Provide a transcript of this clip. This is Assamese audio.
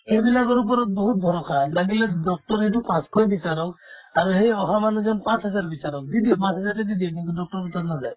সেইবিলাকৰ ওপৰত বহুত ভৰষা লাগিলে doctor ৰেতো পাঁচশই বিচাৰক আৰু সেই অহা মানুহজন পাঁচ হাজাৰ বিচাৰক দি দিব পাঁচহাজাৰটোয়ে দি দিব কিন্তু doctor ৰৰ তাত নাযায়